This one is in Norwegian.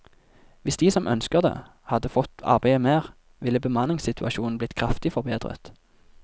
Hvis de som ønsker det hadde fått arbeide mer, ville bemanningssituasjonen blitt kraftig forbedret.